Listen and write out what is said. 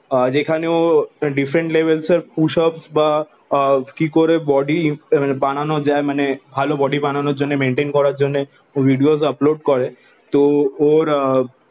যেখানে ও ডিফারেন্ট লেভেলের পুশ উপস বা কি করে বডি বানানো যায় মানে ভালো বডি বানানোর জন্যে মেনটেন করার জন্যে ভিডিওস আপলোড করে তো ওরে আহ